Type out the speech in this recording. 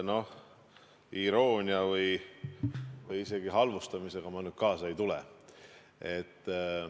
Ka selle iroonia või isegi halvustamisega ma nüüd kaasa ei lähe.